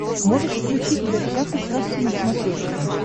можешь включить в гостях у сказки на смотрешке